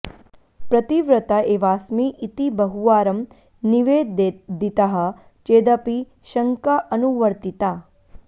प्रतिव्रता एवास्मि इति बहुवारं निवेदितः चेदपि शङ्का अनुवर्तिता